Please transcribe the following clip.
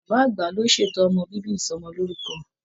Bàbá àgbà ló ṣètò ọmọ bíbí Ìsọmọlorúkọ.